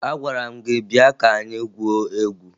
Agwara m gị bịa ka anyị gwuo egwu!